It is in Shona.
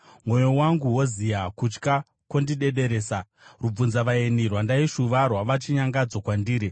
Mwoyo wangu woziya, kutya kwondidederesa; rubvunzavaeni rwandaishuva rwava chinyangadzo kwandiri.